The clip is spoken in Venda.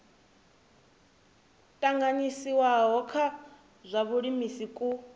tanganyisiwaho kwa zwa vhulimi ku